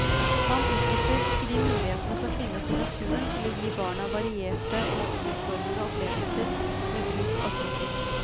Man utnytter ikke de mulighetene som finnes i naturen til å gi barna varierte og utfordrende opplevelser med bruk av kroppen.